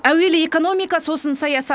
әуелі экономика сосын саясат